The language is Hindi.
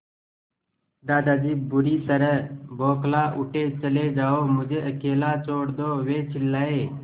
दादाजी बुरी तरह बौखला उठे चले जाओ मुझे अकेला छोड़ दो वे चिल्लाए